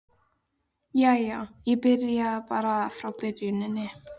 Jæja, ég byrja bara á byrjuninni.